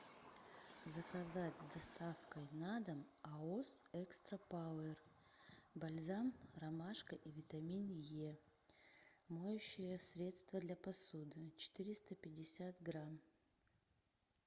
заказать с доставкой на дом аос экстра пауэр бальзам ромашка и витамин е моющее средство для посуды четыреста пятьдесят грамм